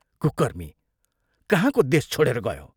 कुकर्मी कहाँको देश छोडेर गयो?